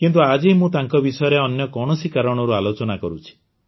କିନ୍ତୁ ଆଜି ମୁଁ ତାଙ୍କ ବିଷୟରେ ଅନ୍ୟ କୌଣସି କାରଣରୁ ଆଲୋଚନା କରୁଛି